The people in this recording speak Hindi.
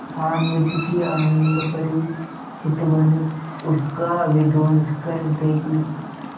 हामिद की आनंदभरी चितवन उसका विध्वंस कर देगी